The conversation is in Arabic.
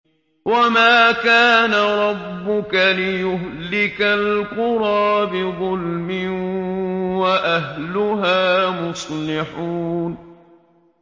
وَمَا كَانَ رَبُّكَ لِيُهْلِكَ الْقُرَىٰ بِظُلْمٍ وَأَهْلُهَا مُصْلِحُونَ